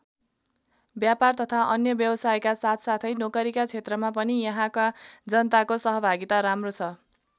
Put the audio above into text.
व्यापार तथा अन्य व्यावसायका साथसाथै नोकरीका क्षेत्रमा पनि यहाँका जनताको सहभागिता राम्रो छ।